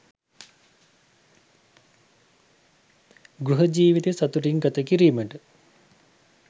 ගෘහ ජීවිතය සතුටින් ගත කිරීමට